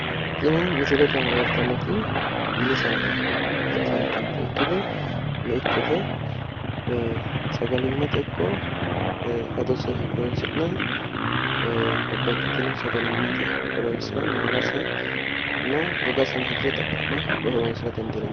Tini misilete leelittanonketi mini saada ikkottanna meichote, sagalimate woyi adose, woyi maalase itta dandiinannite hattono gogase hirre horonsira dandiinannite